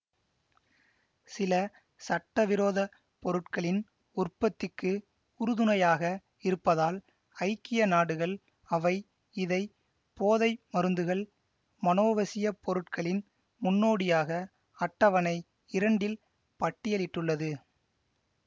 சில சட்டவிரோத பொருட்களின் உற்பத்திக்கு உறுதுணையாக இருப்பதால் ஐக்கிய நாடுகள் அவை இதை போதை மருந்துகள் மனோவசியப் பொருட்களின் முன்னோடியாக அட்டவணை இரண்டில் பட்டியலிட்டுள்ளது